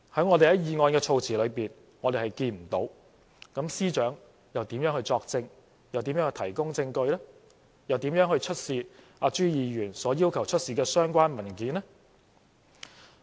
我們從議案措辭看不到，那麼司長又如何作證、如何提供證據、如何出示朱議員所要求的相關文件呢？